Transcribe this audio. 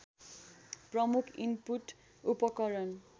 प्रमुख इनपुट उपकरण